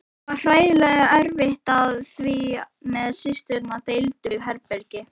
Það var hræðilega erfitt því við systurnar deildum herbergi.